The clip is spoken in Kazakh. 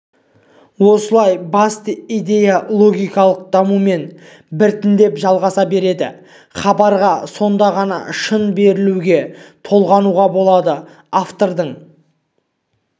осылай басты идея логикалық дамумен біртіндеп жалғаса береді хабарға сонда ғана шын берілуге толғануға болады автордың